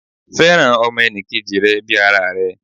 Fẹ́ràn ọmọ enì kejì rẹ bii ara rẹ